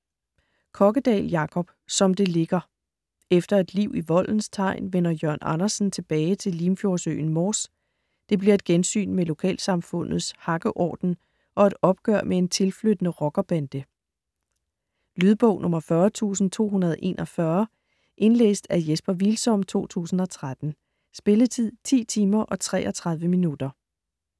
Kokkedal, Jacob: Som det ligger Efter et liv i voldens tegn vender Jørn Andersen tilbage til limfjordsøen Mors. Det bliver til et gensyn med lokalsamfundets hakkeorden og et opgør med en tilflyttende rockerbande. Lydbog 40241 Indlæst af Jesper Hvilsom, 2013. Spilletid: 10 timer, 33 minutter.